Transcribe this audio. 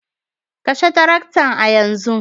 Kashe tarakta a yanzu